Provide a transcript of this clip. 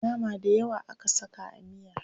Nama dayawa aka saka a miyar.